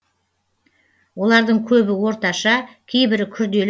олардың көбі орташа кейбірі күрделі